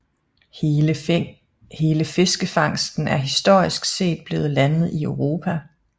Hele fiskefangsten er historisk set blevet landet i Europa